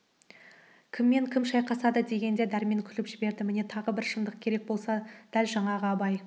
кіммен кім шайқасады дегенде дәрмен күліп жіберді міне тағы бір шындық керек болса дәл жаңағы абай